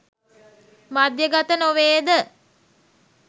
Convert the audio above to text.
මධ්‍යගත නො වේ ද?